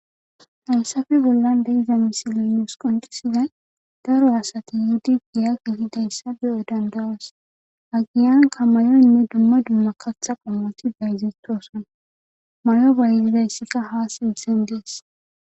haysafe bollan deiza misilinuus qoncisizay daro asati yhudi giya gi hidayssa beyo dandawas agiyanka may7oynne dumma dumma katha qommati dayzitoson mayo bayzidayssikka ha simsen dees